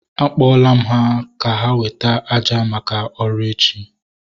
A kpọla m ha ka ha weta àjà maka ọrụ echi